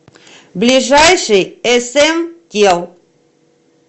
ближайший см тел